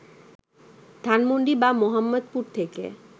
ধানমন্ডি বা মোহাম্মদপুর থেকে